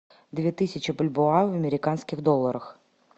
две тысячи бальбоа в американских долларах